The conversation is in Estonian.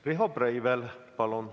Riho Breivel, palun!